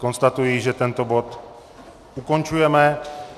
Konstatuji, že tento bod ukončujeme.